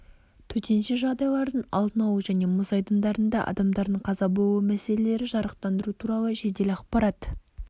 төтенше жағдайлардың алдын алу және мұз айдындарында адамдардың қаза болуы мәселелері жарықтандыру туралы жедел ақпарат